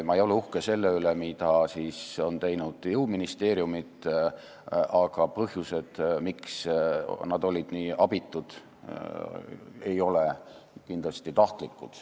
Ma ei ole uhke selle üle, mida on teinud jõuministeeriumid, aga põhjused, miks nad olid nii abitud, ei olnud kindlasti tahtlikud.